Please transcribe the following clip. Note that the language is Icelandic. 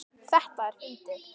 Þetta er fyndið.